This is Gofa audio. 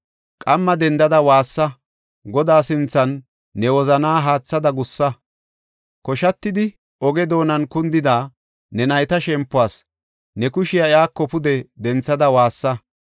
Qamma dendada waassa; Godaa sinthan ne wozanaa haathada gussa. Koshatidi oge doonan kundida ne nayta shempuwas ne kushiya iyako pude denthada woossa!